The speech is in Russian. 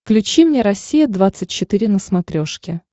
включи мне россия двадцать четыре на смотрешке